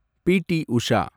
B. T. Usha